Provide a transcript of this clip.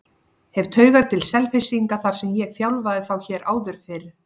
Hef taugar til Selfyssinga þar sem ég þjálfaði þá hér áður fyrr.